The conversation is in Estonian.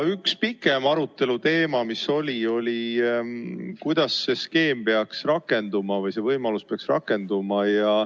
Üks pikem arutelu teema oli, kuidas see skeem või see võimalus peaks rakenduma.